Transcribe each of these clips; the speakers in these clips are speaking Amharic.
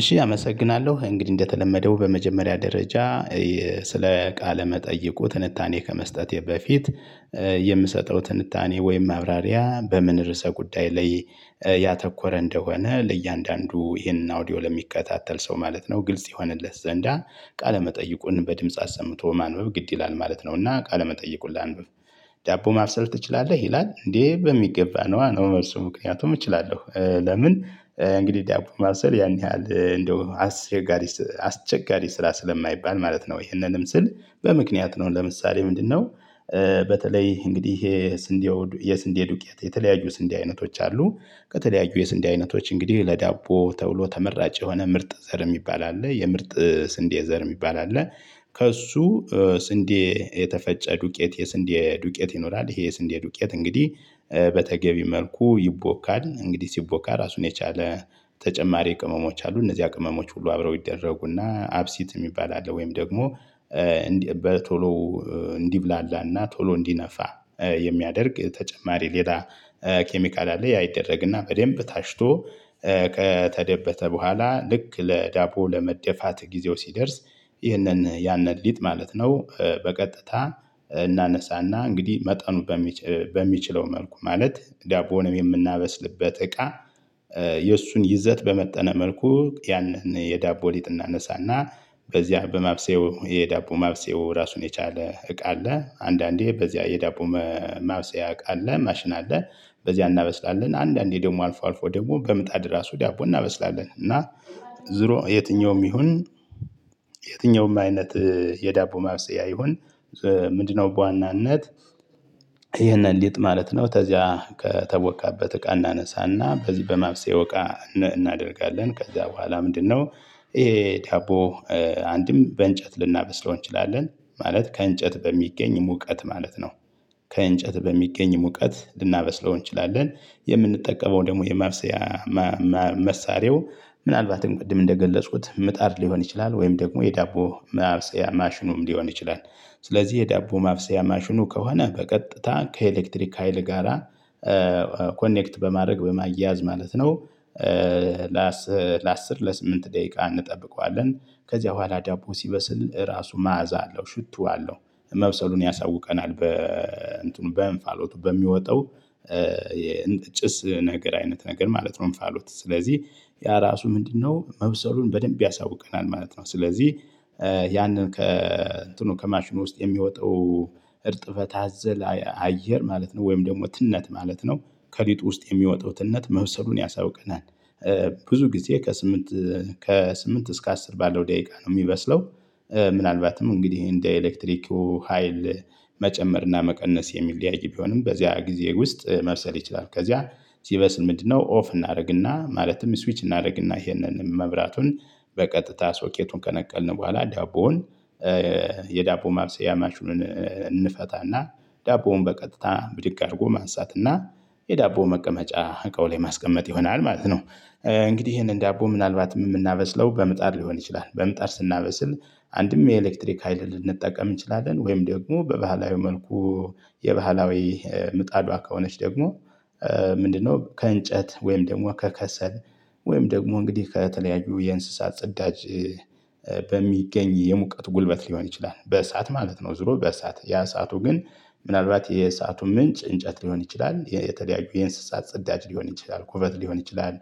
እሺ አመሰግናለሁ እንግዲህ እንደተለመደው በመጀመሪያ ደረጃ ስለ ቃለ መጠይቁ ትንታኔ ከመስጠቴ በፊት የምሰጠው ትንታኔ ወይም ማብራሪያ በምን ርዕሰ ጉዳይ ላይ ያተኮረ እንደሆነ ለእያንዳንዱ ይሄንን አውዲዮ ለሚከታተል ሰው ማለት ነው። ግልጽ የሆነለት ዘንዳ ቃለመጠይቁን በድምጽ አሰምቶ ማንበብ ግድ ይላል ማለት ነውና ቃለመጠይቁን ላንብብ። ዳቦ ማበሰል ትችላለህ ይላል እንዴ? በሚገባ ነዋ ነው መልሱ። ምክንያቱም እችላለሁ ለምን እንግዲህ ዳቦ ማብሰል ያን ያህል እንደው አስቸጋሪ አስቸጋሪ ስራ ስለማይባል ማለት ነው። ይህንንም ስል በምክንያት ነው ለምሳሌ ምንድነው? በተለይ እንግዲህ ይሄ የስንዴ የስንዴ ዱቄት የተለያዩ ስንዴ አይነቶች አሉ ከተለያዩ የስንዴ አይነቶች እንግዲህ ለዳቦ ተብሎ ተመራጭ የሆነ ምርጥ ዘር የሚባል አለ የምርጥ ስንዴ ዘር የሚባል አለ። ከእሱ ስንዴ የተፈጨ ዱቄት የስንዴ ዱቄት ይኖራል። ይሄ የስንዴ ዱቄት እንግዲህ በተገቢ መልኩ ይቦካል እንግዲህ ሲቦካ ራሱን የቻለ ተጨማሪ ቅመሞች አሉ እነዚህ ቅመሞች ሁሉ አብረው ይደረጉና አብሲት የሚባል አለ። ወይም ደግሞ በቶሎ እንዲብላላና ቶሎ እንዲነፋ የሚያደርግ ተጨማሪ ሌላ ኬሚካል አለ። ያ ይደረግና በደንብ ታሽቶ ከተደበተ በኋላ ልክ ለዳቦ ለመደፋት ጊዜው ሲደርስ። ይህንን ያንን ሊጥ ማለት ነው። በቀጥታ እናነሳና እንግዲህ መጠኑ በሚችለው መልኩ ማለት ዳቦንም የምናበስልበት እቃ። የእሱን ይዘት በመጠነ መልኩ ያንን የዳቦ ሊጥ እናነሳና በዚያ በማብሰያው የዳቦ ማብሰያው ራሱን የቻለ እቃ አለ። አንዳንዴ በዚያ የዳቦ ማብሰያ እቃ አለ ማሽን አለ። በዚያ እናበስላለን አንዳንዴ ደግሞ አልፎ አልፎ ደግሞ በምጣድ ራሱ ዳቦ እናበስላለን። እና ዝሮ የትኛውም ይሁን የትኛውም አይነት የዳቦ ማብሰያ ይሁን ምንድነው በዋናነት ይሄንን ሊጥ ማለት ነው። ከዚያ ከተቦካበት እቃ እናነሳና በዚህ በማብሰያው እቃ እናደርጋለን ከዚያ በኋላ ምንድነው? ይሄ ዳቦ አንድም በእንጨት ልናበስለው እንችላለን ማለት ከእንጨት በሚገኝ ሙቀት ማለት ነው። ከእንጨት በሚገኝ ሙቀት ልናበስለው እንችላለን። የምንጠቀመው ደግሞ የማብሰያ መሳሪያው ምናልባትም ቅድም እንደገለጽኩት ምጣድ ሊሆን ይችላል ወይም ደግሞ የዳቦ ማብሰያያ ማሽኑም ሊሆን ይችላል። ስለዚህ የዳቦ ማብሰያ ማሽኑ ከሆነ በቀጥታ ከኤሌክትሪክ ሀይል ጋራ ኮኔክት በማድረግ በማያያዝ ማለት ነው። ለአስር ለስምንት ደቂቃ እንጠብቀዋለን ከዚያ በኋላ ዲያቦ ሲበስል ራሱ መዓዛ አለው ሽቶ አለው መብሰሉን ያሳውቀናል። በ እንትኑ በእንፋሎቱ በሚወጣው የጭስ ነገር አይነት ነገር ማለት ነው እንፋሎት ስለዚህ ያ ራሱ ምንድነው? መብሰሉን በደንብ ያሳውቀናል ማለት ነው። ስለዚህ ያንን ከእንትኑ ከማሽኑ ውስጥ የሚወጣው እርጥበት አዘል አየር ማለት ነው ወይም ደግሞ ትነት ማለት ነው። ከሊጥ ውስጥ የሚወጣው ትነት መብሰሉን ያሳውቀናል። ብዙ ጊዜ ከስምንት ከስምንት እስከ አስር ባለው ደቂቃ ነው የሚበስለው። ምናልባትም እንግዲህ እንደ ኤሌክትሪኩ ሀይል መጨመር እና መቀነስ የሚለያይ ቢሆንም በዚያ ጊዜ ውስጥ መብሰል ይችላል። ከዚያ ሲበስል ምንድነው ኦፍ እናደርግና ማለትም ስዊች እናደርግና ይሄንን መብራቱን በቀጥታ ሶኬቱን ከነቀልን በኋላ ዳቦውን የዳቦ ማብሰያ ማሽኑን እንፈታና ዳቦውን በቀጥታ ብድግ አድርጎ ማንሳትና የዳቦ መቀመጫ እቃው ላይ ማስቀመጥ ይሆናል ማለት ነው። እንግዲህ ይሄንን ዳቦ ምናልባት የምናበስለው በምጣድ ሊሆን ይችላል። በምጣር ስናበስል አንድም የኤሌክትሪክ ሀይል ልንጠቀም እንችላለን ወይም ደግሞ በባህላዊ መልኩ የባህላዊ ምጣዷ ከሆነች ደግሞ ምንድነው? ከእንጨት ወይም ደግሞ ከከሰል ወይም ደግሞ እንግዲህ ከተለያዩ የእንስሳት ጽዳጅ በሚገኝ የሙቀት ጉልበት ሊሆን ይችላል በእሳት ማለት ነው። ዙሮ በእሳት ያ እሳቱ ግን ምናልባት የእሳቱ ምንጭ እንጨት ሊሆን ይችላል የተደያዩ የእንስሳት ጽዳጅ ሊሆን ይችላል ኮበት ሊሆን ይችላል።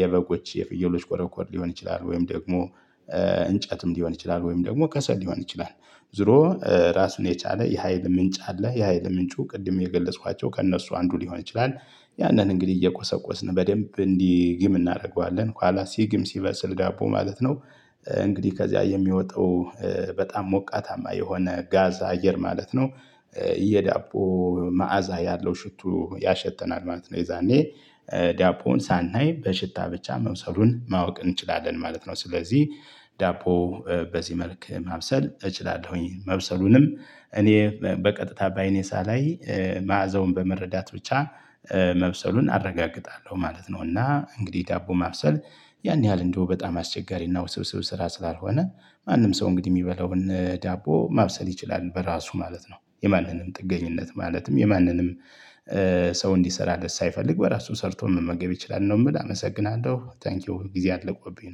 የበጎች የፍየሎች ኮረኮር ሊሆን ይችላል ወይም ደግሞ እንጨትም ሊሆን ይችላል ወይም ደግሞ ከሰል ሊሆን ይችላል። ዞሮ ራስን የቻለ የሀይል ምንጭ አለ የሀይል ምንጩ ቅድም የገለጽኳቸው ከእነሱ አንዱ ሊሆን ይችላል። ያንን እንግዲህ እየቆሰቆስን በደንብ እንዲግም እናደርገዋለን ከኋላ ሲግም ሲበስል ዳቦው ማለት ነው። እንግዲህ ከዚያ የሚወጣው በጣም ሞቃታማ የሆነ ጋዝ አየር ማለት ነው። የዳቦ መዓዛ ያለው ሽቱ ያሸተናል ማለት ነው። የዛኔ ዳቦውን ሳናይ በሽታ ብቻ መብሰሉን ማወቅ እንችላለን ማለት ነው። ስለዚህ ዳቦ በዚህ መልክ ማብሰል እችላለሁኝ መብሰሉንም እኔ በቀጥታ በአይኔ ሳላይ መዓዘውን በመረዳት ብቻ መብሰሉን አረጋግጣለሁ ማለት ነው። እና እንግዲህ ዳቦ ማብሰል ያን ያህል እንደው በጣም አስቸጋሪና ውስብስብ ስራ ስላልሆነ ማንም ሰው እንግዲህ የሚበላውን ዳቦ ማብሰል ይችላል በራሱ ማለት ነው። የማንንም ጥገኝነት ማለትም የማንንም ሰው እንዲሰራለት ሳይፈልግ በራሱ ሰርቶ መመገብ ይችላል ነው። የምል አመሰግናለሁ ታንኪው ጊዜ አልቆብኝ ነው